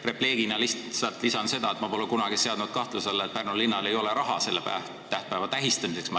Repliigina lisan seda, et ma ei ole kunagi seadnud kahtluse alla, kas Pärnu linnal on raha selle tähtpäeva tähistamiseks.